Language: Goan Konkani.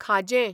खाजें